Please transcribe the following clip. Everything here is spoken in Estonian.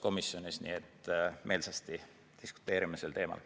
Me meelsasti diskuteerime sel teemal.